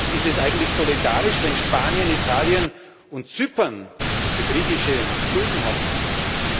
Ist es eigentlich solidarisch, wenn Spanien, Italien und Zypern für griechische Schulden haften müssen?